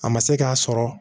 A ma se k'a sɔrɔ